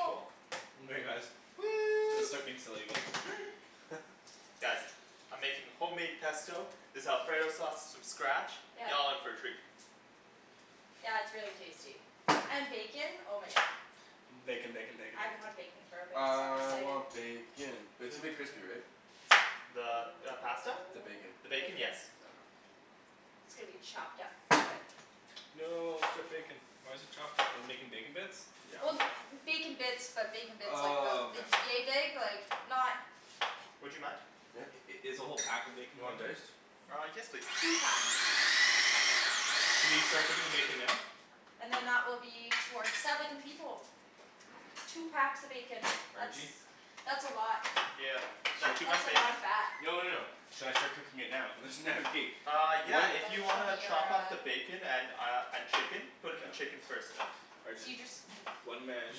Cool. guys. Gonna Woo! start being silly again. Guys, I'm making homemade pesto, this alfredo sauce from scratch, Yep. y'all in for a treat. Yeah it's really tasty. And bacon? Oh my God. Bacon, bacon, bacon, I haven't bacon. had bacon for a bit so I'm really I excited. want bacon! But it's gonna be crispy, right? The Oh, pasta? The bacon. The the bacon? bacon. Yes. Okay. It's gonna be chopped up into it. No, strip bacon. Why's it chopped up? Are we making bacon bits? Yeah. Well bacon bits, but bacon bits like, Oh about, okay. yea big? Like not Would you mind? Yeah. I- is the whole pack of bacon You want going in there? diced? Uh, yes please. Two packs. Should we start cooking the bacon now? And then that will be for seven people. Two packs of bacon. That's, Arjie? that's a lot. Yeah. Is that too That's much a lot bacon? of fat. No no no. Should I start cooking it now? There's Uh yeah, Oh if you that's wanna from your, chop up uh. the bacon and uh and chicken? Put in the chicken first though. So Arjan, you just, one man You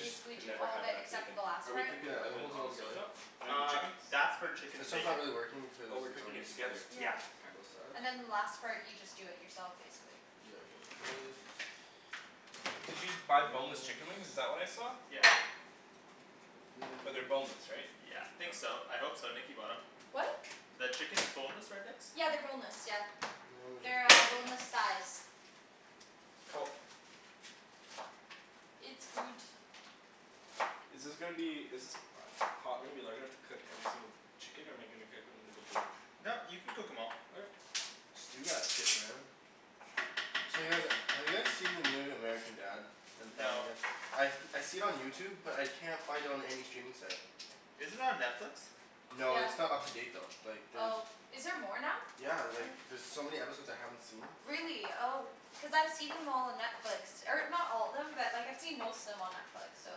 just can do never all have the, enough except for bacon. the last Are we part? cooking the Yeah and it oven holds it all on the stove together. top? Or the Uh, chicken? that's for chicken This and one's not bacon. really working Oh, cuz we're it's cooking already it together. sliced d- Yeah. Yeah. on K. both sides. And then the last part you just do it yourself basically. Yeah like this. Did you buy boneless chicken wings? Is This that what I saw? Yeah. Like this But they're boneless, right? Yeah. Think so. I hope so, Nikki bought em. What? The chicken is boneless, right Nikks? Yeah they're boneless, yeah. Now we just They're go like. boneless thighs. Cool. It's good. Is this gonna be, is this pot gonna be large enough to cook every single chicken or am I gonna cook them individually? No, you can cook em all. Okay. Just do that shit man. So you guys, have you guys seen the new American Dad and No. Family Guy? I I see it on YouTube but I can't find it on any streaming site. Is it on Netflix? No, Yeah. it's not up to date though. Like there's... Oh. Is there more now? Yeah like there's so many episodes I haven't seen. Really? Oh. Cuz I've seen them all on Netflix. Or not all of them, but like I've seen most of them on Netflix, so I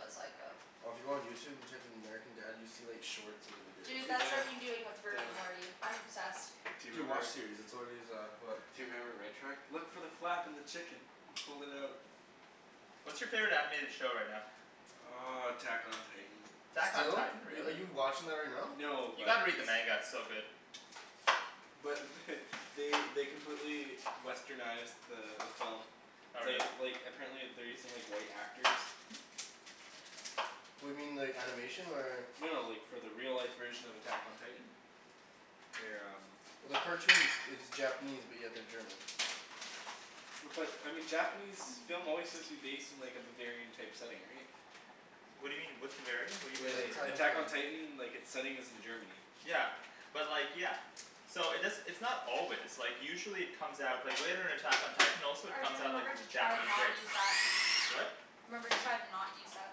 was like oh. Well if you go on YouTube and type in American Dad you see like shorts of the videos. Dude, Dude, that's I what know. I've been doing with Rick Damn. and Morty. I'm obsessed. Do you Dude, remember WatchSeries. That's already is, go ahead Do you remember Red Truck? Look for the flap in the chicken! Fold it out. What's your favorite animated show right now? Uh, Attack on Titan. Attack on Are Titan? are Really? you watching that right now? No, You but gotta read the manga. It's so good. but they they completely westernized the the film. Oh really? They like, apparently they're using like white actors. What do you mean, the animation or? No, like, for the real life version of Attack on Titan. They're um Well the cartoon it's Japanese but yeah they're German. But I mean Japanese film always seems to be based in like a Bavarian type setting, right? What do you mean? What's Bavarian? What do Like The like Attack on Attack on you Titan. Titan, like its setting is in Germany. Yeah. But like, yeah. So it does - it's not always, like usually it comes out, like later in Attack on Titan also it comes Arjan, out like remember as to a try to Japanese not race. use that. What? Remember to try to not use that.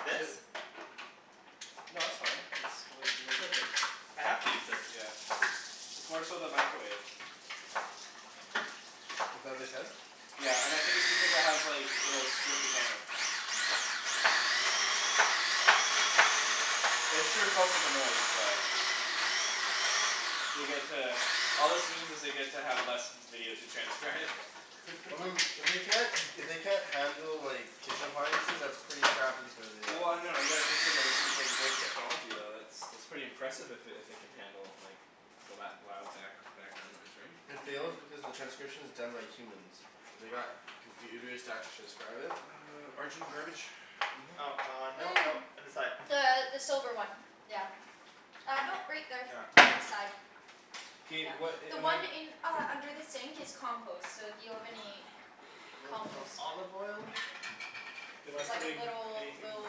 This? No that's fine, it's like, we're cooking. I have to use this. Yeah. It's more so the microwave. Is that what they said? Yeah. And I think it's because it has like, you know, it'll strip the camera. I'm sure it's also the noise, but They get to, all this means is they get to have less video to transcribe. Well I mean, if they can't if they can't handle like kitchen appliances, that's pretty crappy for the uh Well no, you gotta consider too it's like voice technology, though, it's, that's pretty impressive if it if it can handle like the lou- loud back background noise, right? It fails because the transcription is done by humans. They got computers to actually transcribe it? Arjan, garbage? Oh uh, no no, Mm. on the side. The the silver one. Yeah. Uh no right there. Ah. On the side. K, Yeah. what a- The am I one in, uh under the sink is compost. So if you have any Little bit more compost, olive oil. just saying. Am I It's like a putting little, anything with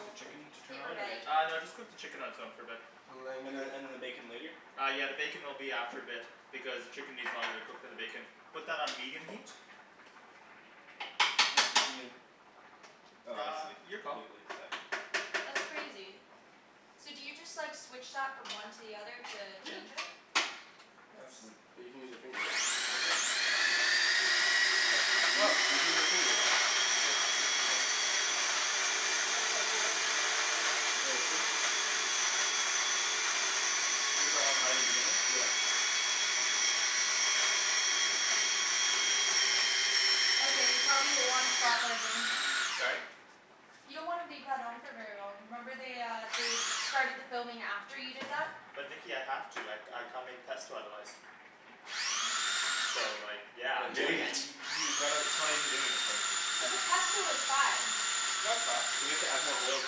the chicken to turn paper on, bag. or? Uh no just cook the chicken on its own for a bit. And then and then the bacon later? Uh yeah the bacon will be after a bit because the chicken needs longer to cook than the bacon. Put that on medium heat? What's medium? Oh I Uh, see. your call. Wait wait, seven. That's crazy. So do you just like switch that from one to the other to Yeah. change it? Nuts. But you can use your finger right? Yep. Hmm. You Sup? you can use that too though. That's so cool. Was that on high to begin with? Yeah. Okay you probably wanna stop Arjan. Sorry? You don't wanna leave that on for very long. Remember they uh they started the filming after you did that? But Nikki I have to, I I can't make pesto otherwise. So like yeah, But I'm you doing haven't y- it. y- you gotta, it probably isn't doing anything. But the pesto is fine. No it's not. You have to add more oil to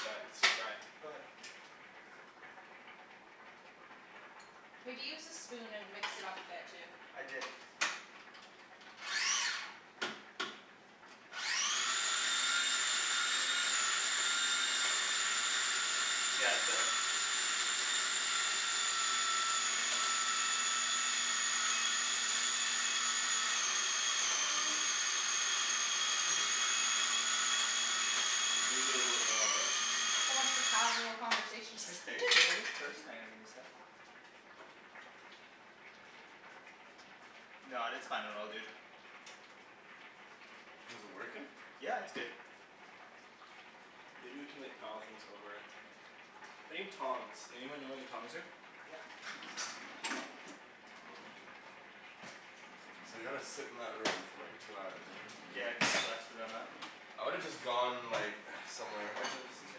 that. It's too dry. Go ahead. Maybe use the spoon and mix it up a bit too. I did. Yeah it's better. Mm. Maybe a little bit lower, eh? So much for casual conversation. Let me taste it a little bit first? Hold on, give me a sec. No, it's fine. It all good. Is it working? Yeah it's good. Maybe we can like pile things over it. I need tongs. Anyone know where the tongs are? Yeah. So they gotta sit in that room for like two hours right? Yeah it kind of sucks for them, huh? I would have just gone like, somewhere. Arjan, this is your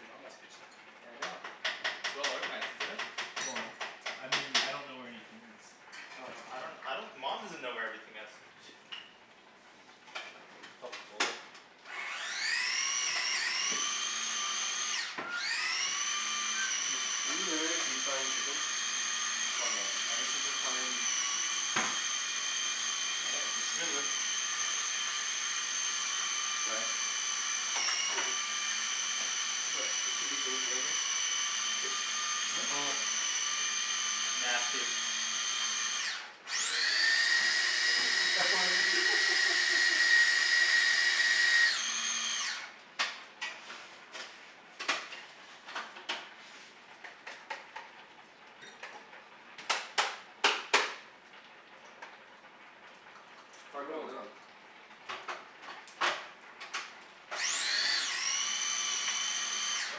Mama's kitchen. I know. Well organized, isn't it? Well, I mean, I don't know where anything is. Oh no. I don't, I don't. Mom doesn't know where everything is. Helpful. Are you literally deep frying chicken? Somewhat. I just have to try and... Looking good. Sorry? What? Nasty. Try putting the lid on. Oh.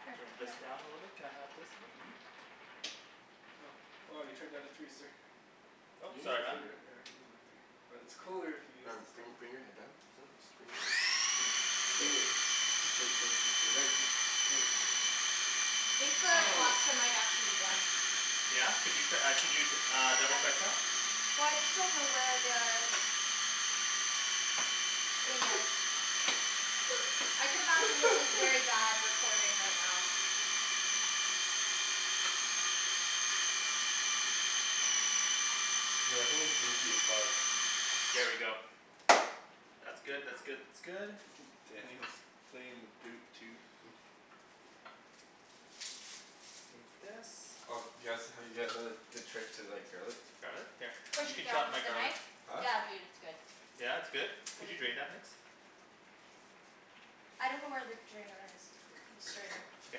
Here, Turn this here. down a little bit, can I have this lid? Well you turned it down to three sir. You Oop, can use sorry your man. finger. Yeah I can use my finger. But it's cooler if you use Ryan this bring thing... bring your head down. Just bring it in. Here. Ryan just, come on. I think the pasta might actually be done. Yeah? Could you uh could you uh double I, check that? well I just don't know where the... I could imagine this is very bad recording right now. Dude I think it's goopy as fuck. There we go. That's good, that's good, that's good. Daniel's playing the boot toot. Take this. Oh do you guys, have you guys heard the trick to like garlic? Garlic? Here. Push You it can chop down my with a garlic. knife? Huh? Yeah dude it's good. Yeah it's good? Can you drain that Nikks? I don't know where the drainer is. The strainer. Okay.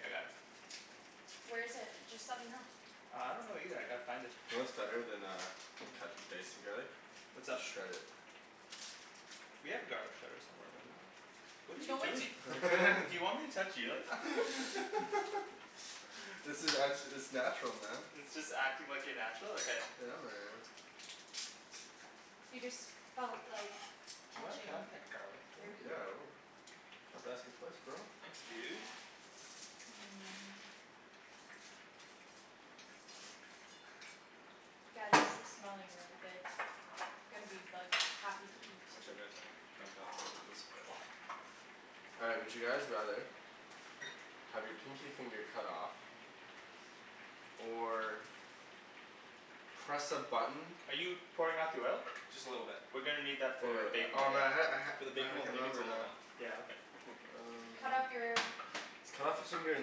I got it. Where is it? Just let me know. Uh, I don't know either. I gotta find it. You know what's better than uh cutting dicing garlic? What's up? Just shred it. We have a garlic shredder somewhere, don't we? What are You you know what doing? Do you want me to touch you like that? This is, I'm it's natural man. It's just acting like you're natural? Okay. Yeah man. You just felt like Do you wanna touching cut up that garlic for your me? boob. Yeah I will. Don't have to ask me twice bro. Thanks dude. Hmm. Guys this is smelling really good. Gonna be like, happy to Hmm. eat. Whichever is fine. It's uncomfortable as it looks. All right, would you guys rather Have your pinky finger cut off? Or. Press a button Are you pouring out the oil? Just a little bit. We're gonna need that Wait for wait. bacon Oh later. man I had For the it. bacon I we'll can't make it remember it now. Yeah, okay. Um. Cut off your? Cut off your finger and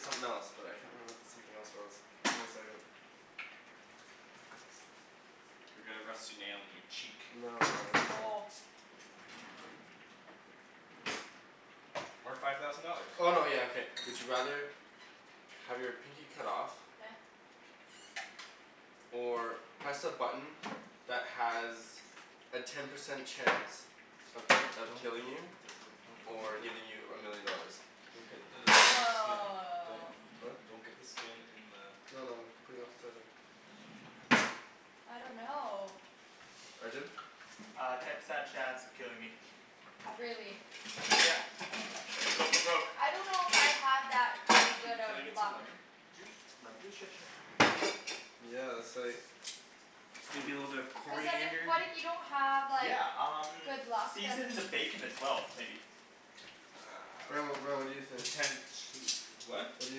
something else. But I can't remember what the something else was. Give me a second. Or get a rusty nail in your cheek. No no no, it's uh. Oh. Or five thousand dollars. Oh no yeah okay. Would you rather Have your pinky cut off? Yeah. Or press a button that has a ten percent chance of of Don't. killing you? Or giving you a million dollars. Don't get the skin... Woah. Huh? Don't get the skin in the... No no. I'm putting it off to the side here. I don't know. Arjan? Uh, ten percent chance of killing me. Really? Yeah. Go for broke. I don't know if I have that really Can good can of I get some luck. lemon juice? Lemon juice? Sure sure. Yeah that's like. Maybe a little bit of Cuz then if coriander? what if you don't have like Yeah um good luck then season the bacon as well maybe. Ryan what, what do you Um think? potential what? What do you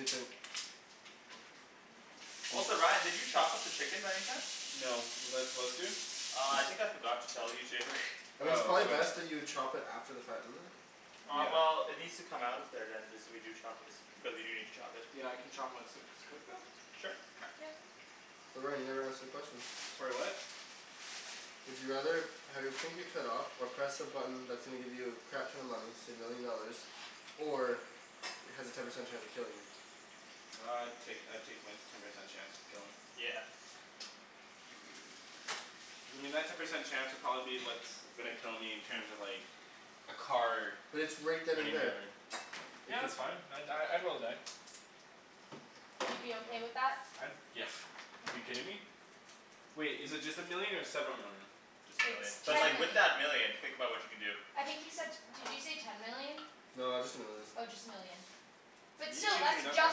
think? Also Ryan did you chop up the chicken by any chance? No, was I supposed to? Uh I think I forgot to tell you to. I mean it's Oh probably okay. best that you chop it after the fact, isn't it? Uh Yeah. well it needs Mm. to come out of there then if we do chop it. Because we do need to chop it. Yeah I can chopped once it's cooked though? Sure. Okay. Yep. Ryan you never answered the question. Sorry what? Would you rather have your pinky cut off, or press a button that's gonna give you a crap ton of money, say a million dollars, or has a ten percent chance of killing you? Uh I'd take I'd take my ten percent chance of killing. Yeah. I mean that ten percent chance would probably be what's gonna kill me in terms of like, a car But it's right then and running me there. over. It Yeah could that's fine, I'd die, I'd roll the die. You'd be okay with that? I'd, yeah. You kidding me? Wait, is it just a million or several million? Just a It's million. But Just ten a like with million. that million, think about what you can do. I think he said, did you say ten million? No, just a million. Oh just a million. But You still, can that's just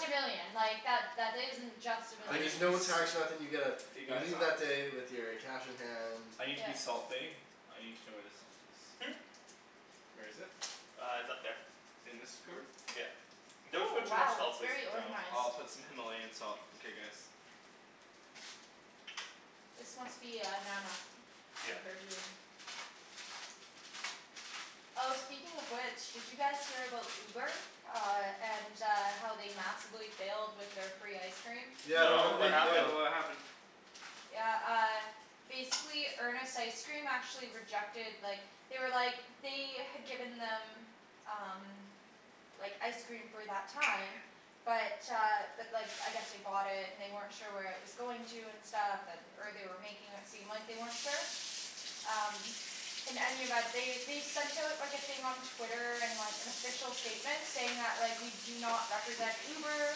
a million. Like that isn't just a I But need there's million. no to tax or nothing, you get a, You you guys? leave that day with your cash in hand I need to be Yeah. salt bae; I need to know where the salt is. Hmm? Where is it? Uh it's up there. In this cupboard? Yeah. Don't Ooh put too much wow salt it's please. very No. organized. I'll put some Himalayan salt, okay guys. This must be uh Nana. And Yeah. her doing. Oh speaking of which, did you guys hear about Uber? Uh and uh how they massively failed with their free ice cream? Yeah but how No, No, did what they happened? fail? what happened? Yeah uh, basically Earnest Ice Cream actually rejected, like, they were like, they had given them, um. Like ice cream for that time, but uh but like I guess they bought it and they weren't sure where it was going to and stuff, and or they were making it seem like they weren't sure. Um. In any event, they they sent out like a thing on Twitter, and like an official statement saying that like, we do not represent Uber,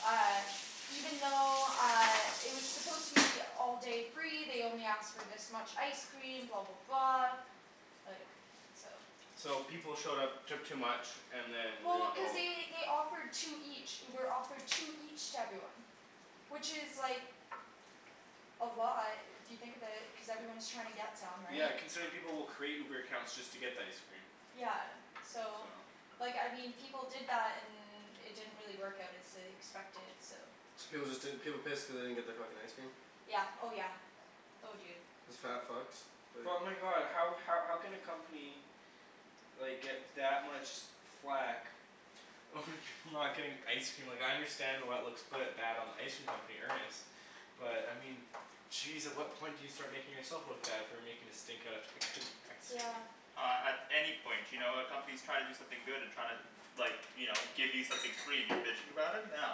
uh, even though uh it was supposed to be all day free, they only asked for this much ice cream, blah blah blah Like, so. So people showed up, took too much, and then Well, ruined the cuz whole... they they offered two each. Uber offered two each to everyone. Which is like. A lot if you think of it, cuz everyone's trying to get them, Yeah right? considering people will create Uber accounts just to get the ice cream. Yeah so, So. like I mean people did that and it didn't really work out as they expected, so. So was it that, people pissed cuz they didn't get their fucking ice cream? Yeah. Oh yeah. Oh dude. Isn't that fucked? Like But my god, how how can a company like get that much flak over people not getting ice cream? Like I understand why it looks quite bad on the ice cream company, Earnest, but I mean jeez at what point do you start making yourself look bad for making a stink out of fucking ice cream? Yeah. Uh at any point. You know, a company's trying to do something good and trying to like, you know, give you something free and you're bitching about it? No.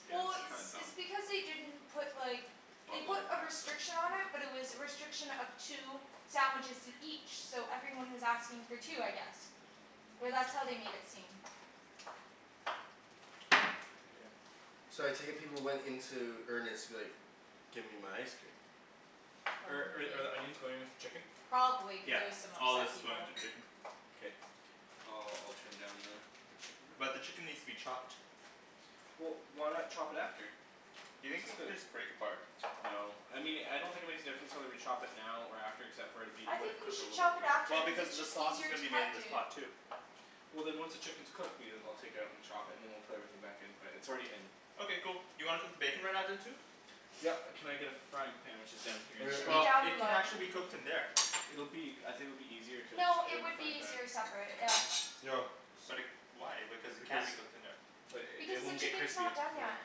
Yeah, Well it's it's kind of dumb. it's because they didn't put like, they Buttload put of a pasta. restriction on it Mhm. but it was a restriction of two sandwiches each, so everyone was asking for two I guess. Or that's how they made it seem. So I take it people went into Earnest like, give me my ice cream. Oh I'm Are with are the you. onions going with the chicken? Probably cuz Yeah. there was some All of this upset is going people. to the chicken. Okay. I'll I'll turn down the the chicken there. But the chicken needs to be chopped. Well why not chop it after? Do you think we could just break apart? No. I mean I don't think it makes a difference whether we chop it now or after except for it'll be, it I would have think we cooked a should little bit chop it after Well quicker. cuz because it's the just sauce is easier to gonna be made in cut, this dude. pot too. Well then once the chicken's cooked, we'll, I'll take it out and chop it and then we'll put everything back in. But it's already in. Okay cool. You wanna cook the bacon right now then too? Yep, can I get a frying pan which is down here? Should be Well down it can below. actually be cooked in there. It'll be, I think it'll be easier to just No, cook it it in the would frying be pan? easier separate. Yeah. Yo. But it, why, because it can be cooked in there. But Because it the won't get chicken's crispy. not done yet.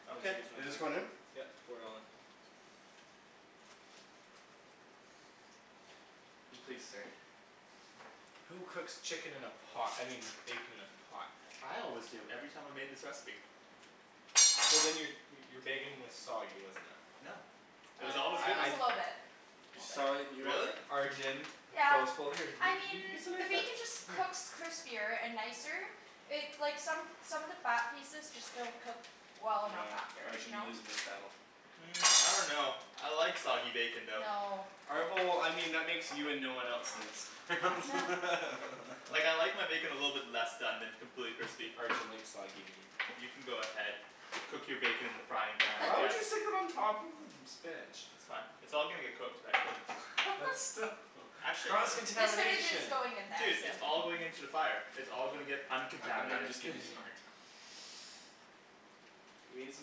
Yep You Okay. want just this one in? pour it all in. And please stir. Who cooks chicken in a pot? I mean bacon in a pot? I always do. Every time I made this recipe. Well then your your bacon was soggy, wasn't it. No. It was I, always Uh it good. I was I. a little bit. You, A little sorry, bit. you what? Really? Arjan. Yeah. here. You I mean you you can the make that, bacon just here. cooks crispier and nicer, it's like, some some of the fat pieces just don't cook well enough Yeah. after. You Arjan, you're know? losing this battle. Hmm. I dunno. I like soggy bacon though. No. All right, well, I mean that makes you and no one else in this. Huh. Like I like my bacon a little bit less done than completely crispy. Arjan likes soggy meat. You can go ahead, cook your bacon in the frying pan I Why would guess. you stick it on top of the spinach? That's fine. It's all gonna get cooked eventually. But still. Actually no. Cross The spinach is contamination? going in there, Dude, so. it's all going into the fire. It's all gonna get I'm I'm uncontaminated. just giving you a hard time. Let me get some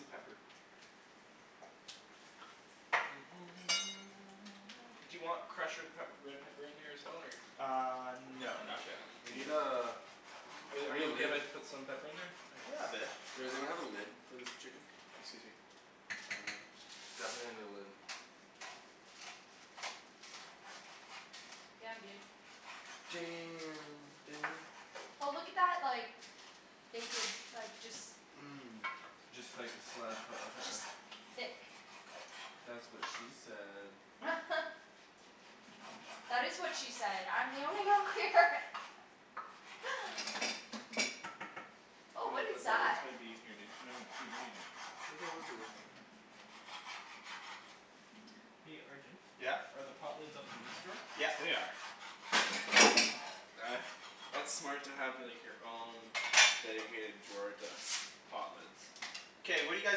pepper. Do you want crushed red pep red pepper in there as well or? Uh no No? No. not yet. We need uh Are We need a you okay lid. if I put some pepper in there? Yeah a bit. Is there we have a lid for this chicken? Excuse me. Um. Definitely need a lid. Damn dude. Damn Daniel. Oh look at that like, bacon, like, just Mm. Just like a slide of Just thick. That's what she said. That is what she said! I'm the only girl here! Oh what is this that? might be in here dude. No no dude, what are you doing. There's no lids in there. Hey Arjan? Yeah? Are the pot lids up in this drawer? Yeah. They are. Uh, that's smart to like have your own dedicated drawer to pot lids. K, what do you guys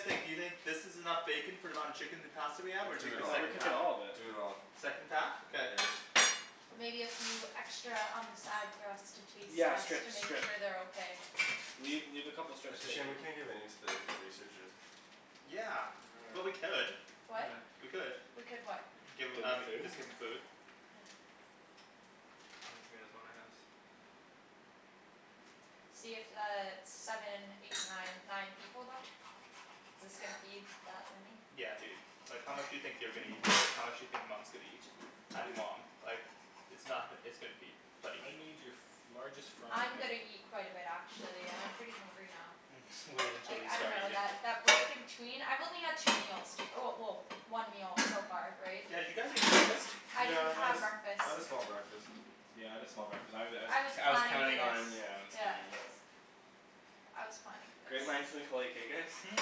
think, do you think this is enough bacon for the amount of chicken and pasta we have or Do take I it the all. thought we're second cooking pack? all of it. Do it all. Second pack? Okay. Yeah. Maybe a few extra on the side for us to taste Yeah just to strips, make strips. sure they're okay. Leave, leave a couple strips It's of a shame bacon. we can't give any to the researchers. Yeah. Well we could. What? We could. We could what? Give Give them them um, the food? team the food. Yeah. in the house. See it's uh seven, eight, nine nine people then? This gonna feed that many? Yeah dude. Like how much do you think they're gonna eat, how much do you think Mom's gonna eat? And mom. Like, it's not, it's gonna feed thirty I people. need your largest frying I'm pan. gonna eat quite a bit actually, I'm pretty hungry now. Mhm. Wait until Like you I start dunno eating. that break in between, I've only had two meals, well well one meal so far, right? Yeah did you guys eat breakfast? I didn't Yeah I had have breakfast. I had a small breakfast. Yeah I had a small breakfast. I was I was I was I was planning for counting this. on, yeah I was Yeah. counting on... I was planning for Great this. minds think alike, eh guys? Hmm?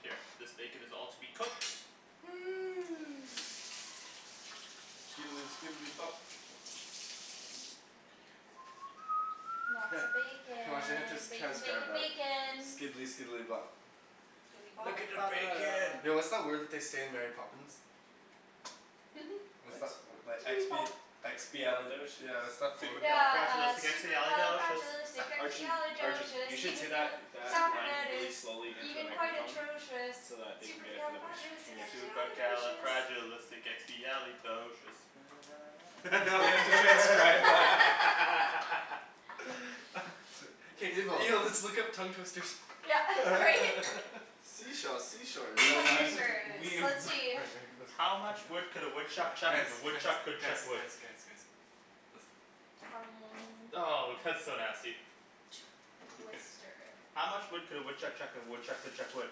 Here. This bacon is all to be cooked. Skidely skidely bop. Heh. Lots of I wonder if they have to bacon. Bacon transcribe bacon that. bacon. Skidely skidely bop. Look at the bacon! Yo what's that word that they say in Mary Poppins? What's What? that, that expi- expiali- Expialidocious. yeah what's that word? Yeah uh, Supercalifragilisticexpialidocious! Arjun. Arjun. You supercalifragilisticexpialidocious, should say even though that the that sound of line it really is slowly into a even quite microphone. atrocious, So that they can get it supercalifragilisticexpialidocious. Supercalifragilisticexpialidocious. Now they have to transcribe Evil. Yo, let's look up tongue twisters. Yeah right? Sea shells sea shores We will down Tongue by be, the twisters. we... Let's see. Wait, wait, listen. How much wood could a woodchuck Guys chuck if a guys woodchuck guys could guys chuck wood? guys guys. Listen. Tongue Oh! That's so nasty. Twister. How much wood could a woodchuck chuck if a woodchuck could chuck wood?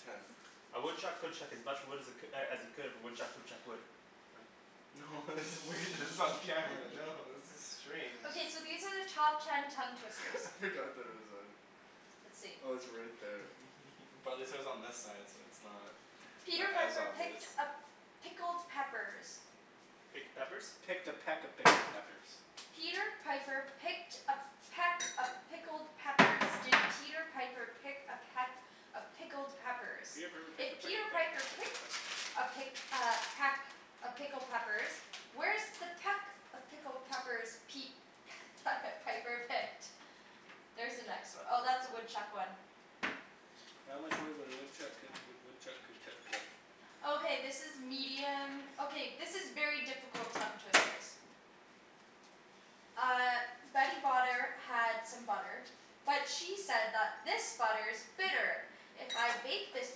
Ten. A woodchuck could chuck as much wood as it as he could if a woodchuck could chuck wood. Oh. No this is weird, this is on camera, no, this is strange. Okay so these are the top ten tongue twisters. I I forgot forgot that that it it was was on. on. Let's see. Oh it's right there. Probably says on this side so it's not Peter as Piper picked obvious. a pickled peppers. Picked a peppers? Picked a peck of pickled peppers. Peter Piper picked a peck of pickled peppers. Did Peter Piper pick a peck of pickled peppers, Peter Piper if picked a peck Peter of Piper pick pickled peck picked a pick peppers. uh peck of pickled peppers, where's the peck of pickled peppers Pete Piper picked? There's the next one. Oh that's the woodchuck one. How much wood would a woodchuck could if a woodchuck could chuck wood? Okay this is medium, okay this is very difficult tongue twisters. Uh Betty Botter had some butter, but she said that this butter is bitter. If I bake this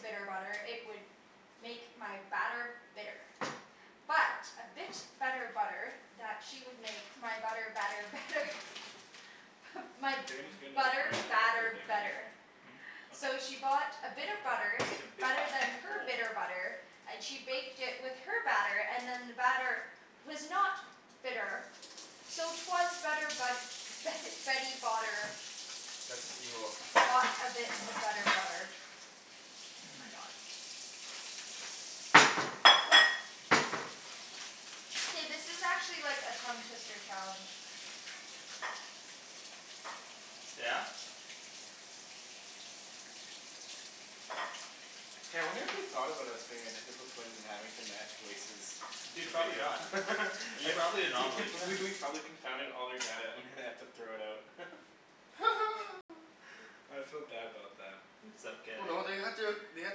bitter butter, it would make my batter bitter. But a bit of better butter that she would make my butter better better. My If you're going to get another butter frying pan I'm gonna put the batter bacon here? better. Mhm. So she bought a bit of butter, better than her bitter butter, and she baked it with her batter, and then the batter was not bitter. So it was better but Betty Botter That's just evil. Bought a bit of better butter. Oh my god. Hey this is actually like a tongue twister challenge. Yeah? K, I wonder if they've thought about us being identical twins and having to match voices Dude to the probably video. not. You're probably an anomaly. I, we we've probably confounded all their data and they have to throw it out. I feel bad about them. It's Well okay. no they had to, they had